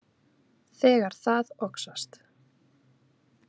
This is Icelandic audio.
Þegar það oxast.